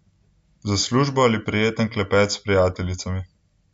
Za službo ali prijeten klepet s prijateljicami.